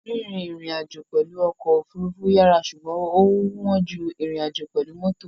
Rírìn ìrìnàjò pẹ̀lú ọkọ̀ òfurufú yàrá ṣùgbọ́n ó wọ́n ju ìrìnàjò pẹ̀lú mọ́tò.